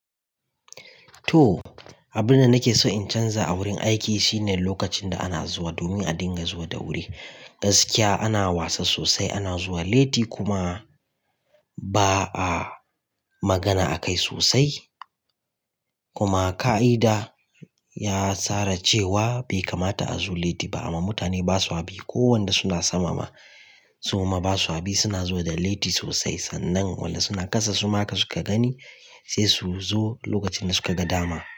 To, abin da nake so in canza a wurin aiki shine lokacin da ana zuwa domin a dinga zuwa da wuri. Gaskiya ana wasa sosai, ana zuwa latti kuma ba a magana akai sosai. Kuma ƙa'ida ya tsara cewa bai kamata a zo latti ba amma mutane ba swa bi ko wanda suna sama ma. Suma ba su haɓi, suna zo da latti sosai sannan walla suna kasa suma ka suka gani sai su zo lokacin da suka ga dama.